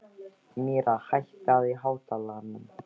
Myrra, hækkaðu í hátalaranum.